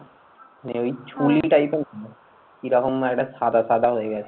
যে ওই কিরকম মানে একটা সাদা সাদা হয়ে গেছে।